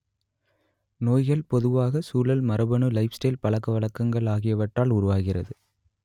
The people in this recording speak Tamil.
நோய்கள் பொதுவாக சூழல் மரபணு லைஃப்ஸ்டைல் பழக்கவழக்கங்கள் ஆகியவற்றால் உருவாகிறது